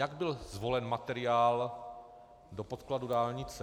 Jak byl zvolen materiál do podkladu dálnice?